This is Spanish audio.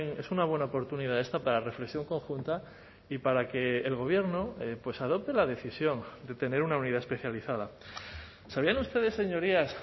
es una buena oportunidad esta para la reflexión conjunta y para que el gobierno adopte la decisión de tener una unidad especializada sabían ustedes señorías